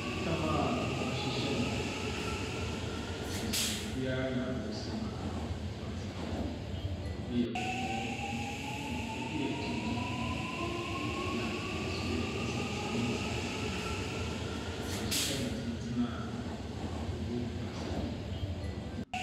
Ɛtam a w'ahyehyɛ no beberee, esin obia na we sima ɔti, ebi yɛ kɔkɔɔ, ebi yɛ tuntum, na ɛbi so yɛn esinsanee sinsanee. Na w'ahyehyɛ no tentenee ogu adzi do.